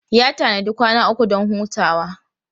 Ya tanadi kwana uku don hutawa.